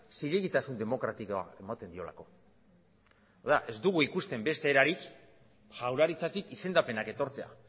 zilegitasun demokratikoa ematen diolako orduan ez dugu ikusten beste erarik jaurlaritzatik izendapenak etortzea